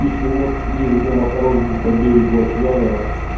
пить вино и ездить на мотороллере по берегу океана нахуй